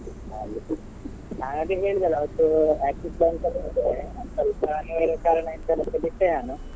ನಾನ್ ಅದೆ ಹೇಳಿದೆ ಅಲ ಅವತ್ತು Axis Bank ಅಲ್ಲಿದ್ದೆ ಸ್ವಲ್ಪ ಕಾರಣ ಬಿಟ್ಟೆ ನಾನು.